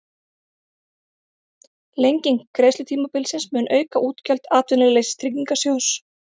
Lenging greiðslutímabilsins mun auka útgjöld Atvinnuleysistryggingasjóðs